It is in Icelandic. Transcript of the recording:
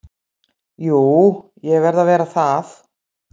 Jú ég verð að vera það.